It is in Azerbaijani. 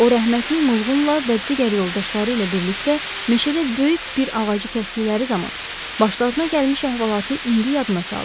O rəhmətlik Muğulunla və digər yoldaşları ilə birlikdə meşədə böyük bir ağacı kəsdikləri zaman başlarına gəlmiş əhvalatı indi yadına saldı.